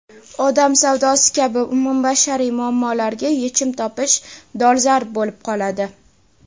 odam savdosi kabi umumbashariy muammolarga yechim topish dolzarb bo‘lib qoladi.